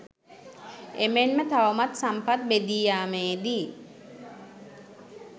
එමෙන්ම තවමත් සම්පත් බෙදී යාමේදී